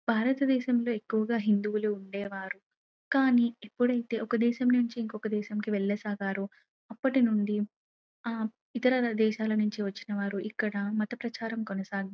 భారతదేశం లో ఎక్కువుగా హిందువులు ఉండేవారు కానీ ఎప్పుడైతే ఒక దేశం నుంచి ఇంకొక దేశంకి వెళ్ళ సాగారో అప్పటి నుండి ఆ ఇతర దేశాల నుండి వచ్చిన వారు ఇక్కడ మత ప్రచారం కొనసాగిం--